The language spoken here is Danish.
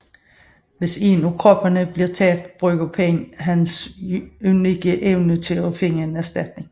Hvis en af kroppene bliver tabt bruger Pain hans unikke evne til at finde en erstatning